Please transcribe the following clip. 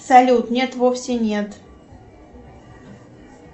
салют нет вовсе нет